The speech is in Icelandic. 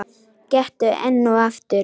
Gettu enn og aftur.